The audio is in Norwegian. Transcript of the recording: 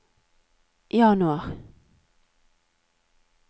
januar